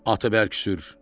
Atı bərk sür.